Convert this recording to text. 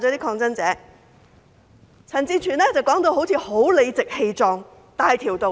陳志全議員說得好像很理直氣壯、大條道理。